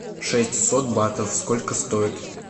шестьсот батов сколько стоит